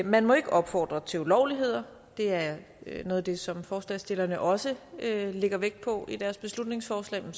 man må ikke opfordre til ulovligheder det er noget af det som forslagsstillerne også lægger vægt på i deres beslutningsforslag men